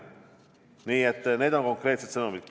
Nii et need on konkreetsed sõnumid.